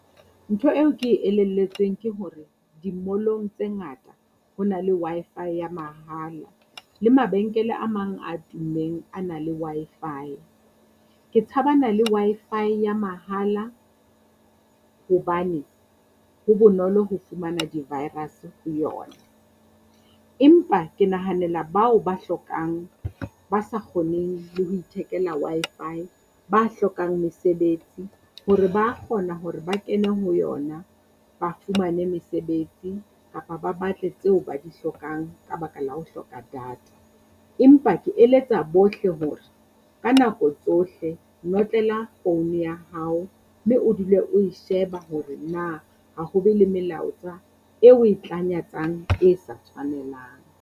Ntho eo ke e elelletsweng ke hore di-mall-ong tse ngata ho na le Wi-Fi ya mahala. Le mabenkele a mang a tummeng a na le Wi-Fi. Ke tshabana le Wi-Fi ya mahala hobane ho bonolo ho fumana di-virus ho yona. Empa ke nahanela bao ba hlokang ba sa kgoneng le ho ithekela Wi-Fi ba hlokang mesebetsi hore ba kgona hore ba kene ho yona, ba fumane mesebetsi kapa ba batle tseo ba di hlokang ka baka la ho hloka data. Empa ke eletsa bohle hore ka nako tsohle notlela phone ya hao mme o dule o e sheba hore na ho ho be le melaetsa e oe tlanyatsang e sa tshwanelang.